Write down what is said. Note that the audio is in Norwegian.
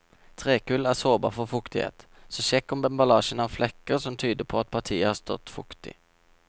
Trekull er sårbar for fuktighet, så sjekk om emballasjen har flekker som tyder på at partiet har stått fuktig.